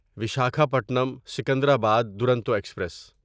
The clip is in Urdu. ویساکھاپٹنم سکندرآباد دورونٹو ایکسپریس